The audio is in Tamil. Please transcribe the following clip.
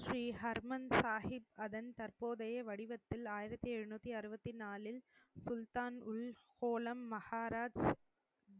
ஸ்ரீ ஹர்மன் சாகிப் அதன் தற்போதைய வடிவத்தில் ஆயிரத்தி எழுநூத்தி அறுபத்தி நாலில் சுல்தான் உள் ஹோலம் மகாராஜ்